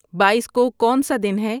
بائیس کو کونسا دن ہے